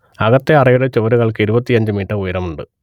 അകത്തെ അറയുടെ ചുവരുകൾക്ക് ഇരുപത്തിയഞ്ച് മീറ്റർ ഉയരമുണ്ട്